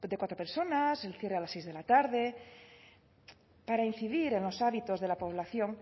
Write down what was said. cuatro personas el cierre a las seis de la tarde para incidir en los hábitos de la población